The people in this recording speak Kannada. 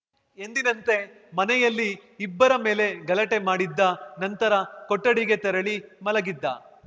ಎಂದಿನಂತೆ ಮನೆಯಲ್ಲಿ ಇಬ್ಬರ ಮೇಲೆ ಗಲಾಟೆ ಮಾಡಿದ್ದ ನಂತರ ಕೊಠಡಿಗೆ ತೆರಳಿ ಮಲಗಿದ್ದ